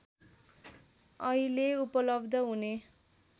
अहिले उपलब्ध हुने